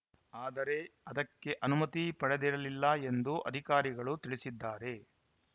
ಆದರೆ ಅದಕ್ಕೆ ಅನುಮತಿ ಪಡೆದಿರಲಿಲ್ಲ ಎಂದು ಅಧಿಕಾರಿಗಳು ತಿಳಿಸಿದ್ದಾರೆ